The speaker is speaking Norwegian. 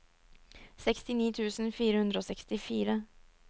sekstini tusen fire hundre og sekstifire